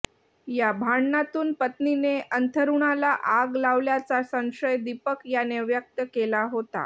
या भांडणातून पत्नीने अंथरुणाला आग लावल्याचा संशय दीपक याने व्यक्त केला होता